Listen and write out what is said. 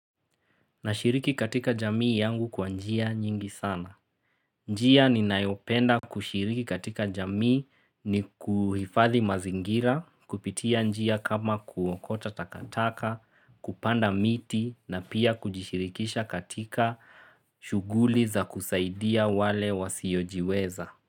Nashiriki katika jamii yangu kwa njia nyingi sana. Njia ni nayopenda kushiriki katika jamii ni kuhifadhi mazingira, kupitia njia kama kuokota takataka, kupanda miti na pia kujishirikisha katika shuguli za kusaidia wale wasiojiweza.